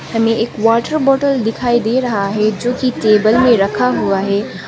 हमे एक water bottle दिखाई दे रहा है जोकि टेबल में रखा हुआ है।